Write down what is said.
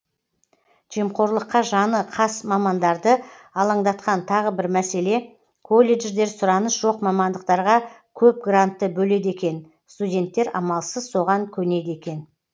жемқорлыққа жаны қас мамандарды алаңдатқан тағы бір мәселе колледждер сұраныс жоқ мамандықтарға көп грантты бөледі екен студенттер амалсыз соған көнеді екен